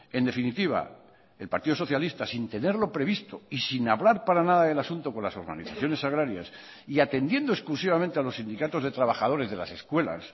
en definitiva el partido socialista sin tenerlo previsto y sin hablar para nada del asunto con las organizaciones agrarias y atendiendo exclusivamente a los sindicatos de trabajadores de las escuelas